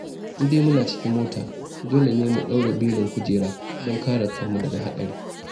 In dai muna cikin mota, dole ne mu daure belin kujera don kare kanmu daga haɗari.